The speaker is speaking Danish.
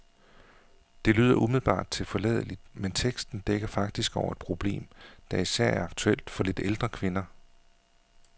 Det lyder umiddelbart tilforladeligt, men teksten dækker faktisk over et problem, der især er aktuelt for lidt ældre kvinder.